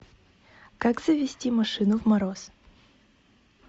как завести машину в мороз